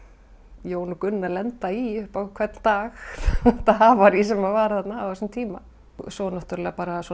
Jón og Gunna lenda í upp á hvern dag þetta havarí sem var þarna á þessum tíma svo náttúrulega